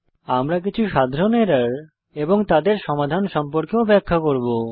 আমরা কিছু সাধারণ এরর এবং তাদের সমাধান সম্পর্কেও ব্যাখ্যা করব